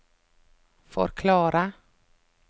forklare